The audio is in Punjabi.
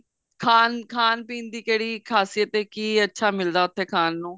ਖਾਨ ਪੀਣ ਦੀ ਕਿਹੜੀ ਖ਼ਾਸੀਅਤ ਐ ਕੀ ਅੱਛਾ ਮਿਲਦਾ ਉੱਥੇ ਖਾਨ ਨੂੰ